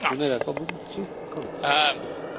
Thank you, Ian, for taking my question.